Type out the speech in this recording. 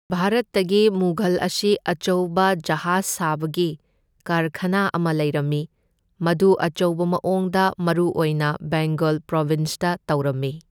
ꯚꯥꯔꯠꯇꯒꯤ ꯃꯨꯘꯜ ꯑꯁꯤꯒꯤ ꯑꯆꯧꯕ ꯖꯍꯥꯖ ꯁꯥꯕꯒꯤ ꯀꯥꯔꯈꯅꯥ ꯑꯃ ꯂꯩꯔꯝꯃꯤ, ꯃꯗꯨ ꯑꯆꯧꯕ ꯃꯑꯣꯡꯗ ꯃꯔꯨ ꯑꯣꯏꯅ ꯕꯦꯡꯒꯜ ꯄ꯭ꯔꯣꯕꯤꯟꯁꯇ ꯇꯧꯔꯝꯃꯤ꯫